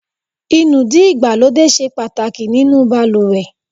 Inúdí ìgbàlódé ṣe pàtàkì nínú baluwe